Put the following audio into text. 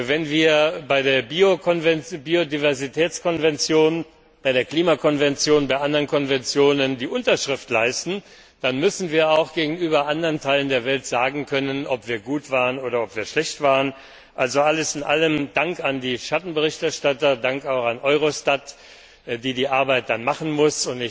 Wenn wir bei der Biodiversitätskonvention, bei der Klimakonvention, bei anderen Konventionen die Unterschrift leisten, dann müssen wir anderen Teilen der Welt sagen können, ob wir gut oder schlecht waren. Also alles in allem Dank an die Schattenberichterstatter, Dank auch an Eurostat, das die Arbeit dann durchführen muss.